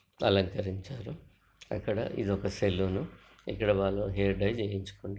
అలంకరించారు అక్కడ ఇదొక సెలూన్ ఇక్కడ వాళ్లు హెయిర్ డైజ్ చేయించుకున్నారు.